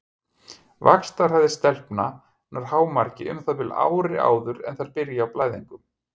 Vaxtarhraði stelpna nær hámarki um það bil ári áður en þær byrja á blæðingum.